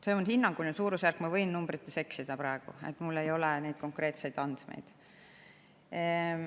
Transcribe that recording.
See on hinnanguline suurusjärk, ma võin praegu numbritega eksida, mul ei ole siin konkreetseid andmeid.